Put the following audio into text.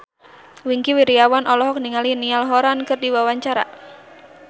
Wingky Wiryawan olohok ningali Niall Horran keur diwawancara